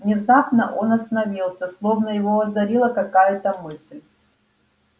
внезапно он остановился словно его озарила какая-то мысль